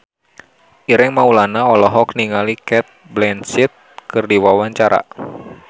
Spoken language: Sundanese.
Ireng Maulana olohok ningali Cate Blanchett keur diwawancara